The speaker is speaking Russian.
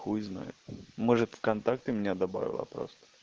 хуй знает может в контакты меня добавила просто